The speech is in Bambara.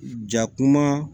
Jakuma